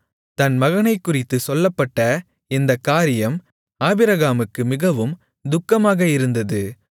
தன் மகனைக்குறித்துச் சொல்லப்பட்ட இந்தக் காரியம் ஆபிரகாமுக்கு மிகவும் துக்கமாக இருந்தது